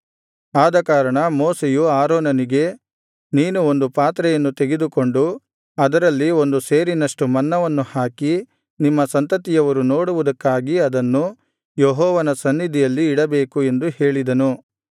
ಆದಕಾರಣ ಮೋಶೆಯು ಆರೋನನಿಗೆ ನೀನು ಒಂದು ಪಾತ್ರೆಯನ್ನು ತೆಗೆದುಕೊಂಡು ಅದರಲ್ಲಿ ಒಂದು ಸೇರಿನಷ್ಟು ಮನ್ನವನ್ನು ಹಾಕಿ ನಿಮ್ಮ ಸಂತತಿಯವರು ನೋಡುವುದಕ್ಕಾಗಿ ಅದನ್ನು ಯೆಹೋವನ ಸನ್ನಿಧಿಯಲ್ಲಿ ಇಡಬೇಕು ಎಂದು ಹೇಳಿದನು